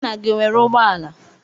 Nna gị o nwere ụgbọala?